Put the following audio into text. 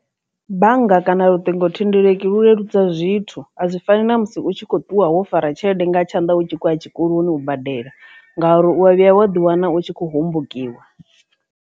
Bannga kana luṱingothendeleki lu leludza zwithu a zwi fani na musi u tshi kho ṱuwa wo fara tshelede nga tshanḓa hu tshi khou ya tshikoloni u badela ngauri u ya vhuya wa ḓi wana u tshi kho hombokiwa.